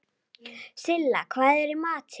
Silla, hvað er í matinn?